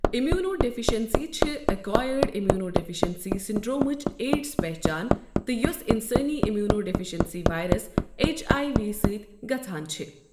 immuno deficiency چھِ acquired immunodeficiency سنڈرومٕچ AIDS پہچان تہِ، یوٚس انسٲنی immunodeficiency virus H I V سۭتۍ گژھان چھِ